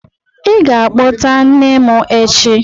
Ị ga-akpọta nne m echi!